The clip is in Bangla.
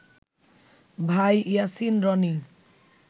ভাই ইয়াসিন রনি